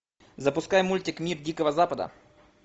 запускай мультик мир дикого запада